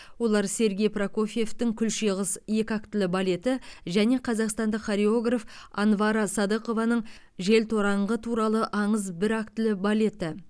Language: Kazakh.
олар сергей прокофьевтың күлше қыз екі актілі балеті және қазақстандық хореограф анвара садықованың желтораңғы туралы аңыз бір актілі балеті